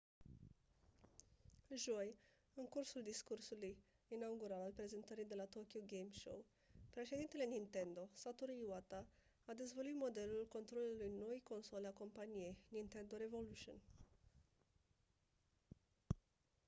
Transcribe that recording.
joi în cursul discursului inaugural al prezentării de la tokyo game show președintele nintendo satoru iwata a dezvăluit modelul controlerului noii console a companiei nintendo revolution